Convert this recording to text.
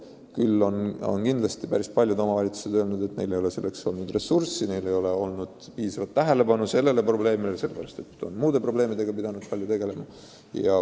Küll on päris paljud omavalitsused öelnud, et neil ei ole selleks ressurssi ja nad pole saanud piisavat tähelepanu nendele noortele pöörata, sest on pidanud muude probleemidega palju tegelema.